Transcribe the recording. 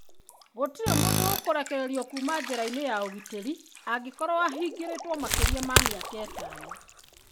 Gũtirĩ mũndũ ũkũrekererio kuuma njera-inĩ ya ũgitĩri angĩkorũo ahingĩrĩtwo makĩria ma mĩaka ĩtano.